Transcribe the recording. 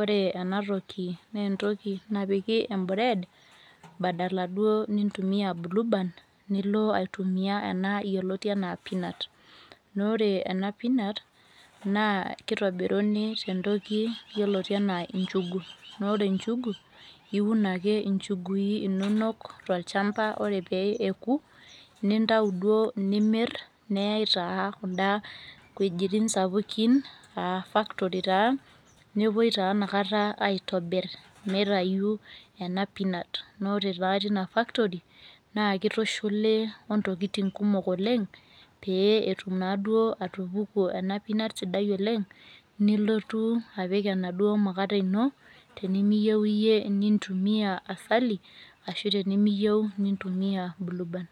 ore ena toki, naa entoki napiki e bread badala duo nintumia blueband. nilo aitumia ena yioloti anaa peanut naa ore ena peanut naa kitobiruni tentoki yioloti anaa njugu naa ore njugu iun ake, injugui inonok tolchampa ore pee eku, nintau duoo inimir, neyae taa kuda wuejitin sapukin, aa factory taa nepuoi taa inakata aitobir mitayu, ena peanut naa ore taa teiina factory naa kitushuli ontokitin kumok oleng. pee etum naaduo atupuku ena peanutvsidia oleng. nelotu, apik enaduoo mukate ino, tenimiyieu iyie nintumia asali, ashu tenimiyieu nintumia blueband